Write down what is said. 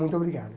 Muito obrigado.